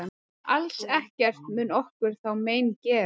Alls ekkert mun okkur þá mein gera.